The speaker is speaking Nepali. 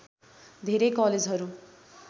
धेरै कलेजहरू